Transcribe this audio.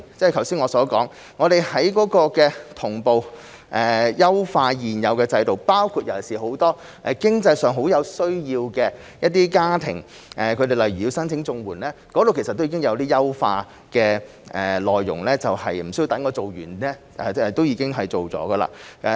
正如我剛才所說，我們會同步優化現有制度，尤其是很多經濟上很有需要的家庭，例如他們申請綜援時，有些優化的內容無需等我們完成報告就已經推出。